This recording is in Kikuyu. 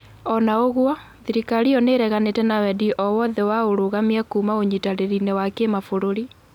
ona ũgwo, thirikari iyo niireganite na wendi oo wothe wa urũgamia kuuma ũnyitanĩri- inĩ wa Kimabũrũri.